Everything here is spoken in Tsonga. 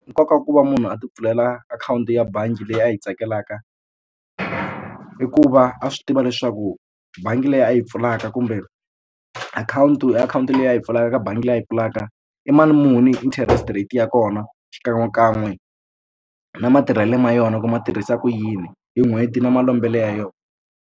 Nkoka wa ku va munhu a ti pfulela akhawunti ya bangi leyi a yi tsakelaka i ku va a swi tiva leswaku bangi leyi a yi pfulaka kumbe akhawunti i akhawunti leyi a yi pfulaka eka bangi leyi a yi pfulaka i mali muni interest rate ya kona xikan'we kan'we na matirhelo ma yona ku ma tirhisa ku yini hi n'hweti na malombelo ya yona.